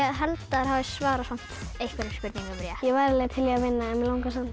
held þær hafi svarað einhverjum spurningum rétt ég væri alveg til í að vinna en mig langar samt